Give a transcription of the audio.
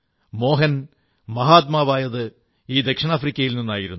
മോഹൻ മഹാത്മാവായത് ഈ ദിക്ഷിണാഫ്രിക്കയിൽ നിന്നായിരുന്നു